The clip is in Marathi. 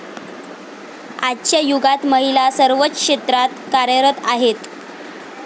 आजच्या युगात महिला सर्वच क्षेत्रात कार्यरत आहेत.